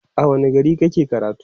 a wani gari kake karatu?